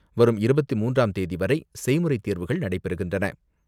வரும் இருபத்தி மூன்றாம் தேதிவரை செய்முறை தேர்வுகள் நடைபெறுகின்றன.